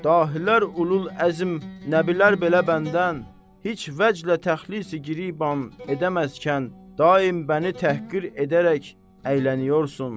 Dahilər, ulul-əzm nəbilər belə bəndən heç vəchlən təxli-gi-riban edəməzkən, daim bəni təhqir edərək əyləniyorsan.